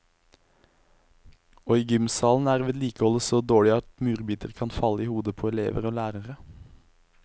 Og i gymsalen er vedlikeholdet så dårlig at murbiter kan falle i hodet på elever og lærere.